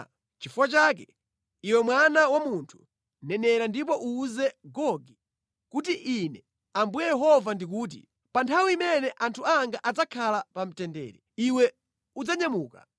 “Nʼchifukwa chake, iwe mwana wa munthu, nenera ndipo uwuze Gogi kuti, ‘Ine Ambuye Yehova ndikuti: Pa nthawi imene anthu anga adzakhala pa mtendere, iwe udzanyamuka.